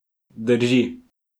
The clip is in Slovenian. Drži.